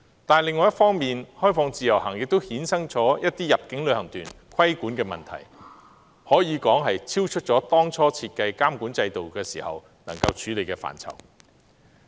不過，開放自由行亦衍生了一些入境旅行團的規管問題，可說是超出當初設計監管制度能夠處理的範疇。